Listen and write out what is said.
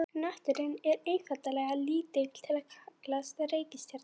Hnötturinn er einfaldlega of lítill til að kallast reikistjarna.